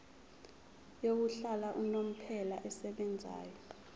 yokuhlala unomphela esebenzayo